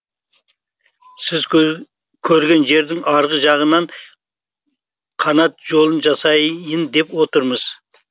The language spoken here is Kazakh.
сіз көрген жердің арғы жағынан канат жолын жасайын деп отырмыз